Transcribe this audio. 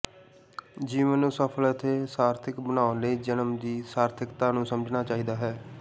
ਜੀਵਨ ਨੂੰ ਸਫਲ ਅਤੇ ਸਾਰਥਿਕ ਬਣਾਉਣ ਲਈ ਜਨਮ ਦੀ ਸਾਰਥਿਕਤਾ ਨੂੰ ਸਮਝਣਾ ਚਾਹੀਦਾ ਹੈ